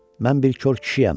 Mən bir kor kişiyəm.